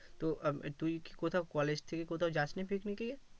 তো তুই কি কোথাও college থেকে কোথাও যাসনি picnic এ